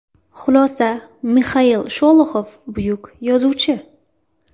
Xulosa Mixail Sholoxov buyuk yozuvchi.